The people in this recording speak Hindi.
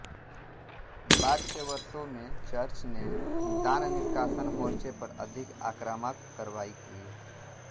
बाद के वर्षों में चर्च ने दाननिष्कासन मोर्चे पर अधिक आक्रामक कार्रवाई की